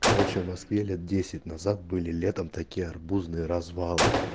короче в москве лет десять назад были летом такие арбузные развалы